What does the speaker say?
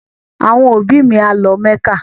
Àwọn òbí mi a lọ mẹ́kà